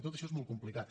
tot això és molt complicat